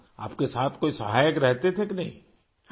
آپ کے ساتھ کوئی معاون رہتے تھے کہ نہیں؟